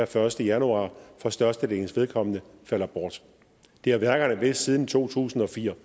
første januar for størstedelens vedkommende falder bort det har værkerne vidst siden to tusind og fire